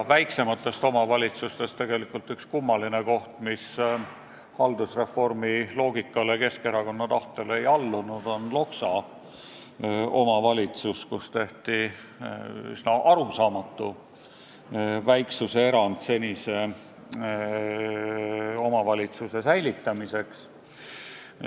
Väiksematest omavalitsustest on üks kummaline koht Loksa, mis Keskerakonna tahtel haldusreformi loogikale ei allunud ja kus tehti üsna arusaamatu väiksuse erand, et senine omavalitsus säilitada.